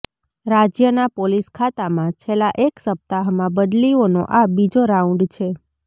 રાજ્યના પોલીસ ખાતામાં છેલ્લા એક સપ્તાહમાં બદલીઓનો આ બીજો રાઉન્ડ છે